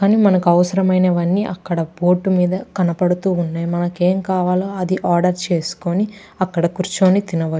కానీ మనకి అవసరం అయినవి అన్నీ అక్కడ బోర్డు మీద కనబడుతున్నాయి మనకి ఎం కావాలో అది ఆర్డర్ చేసుకుని అక్కడ కూర్చుని తినవ --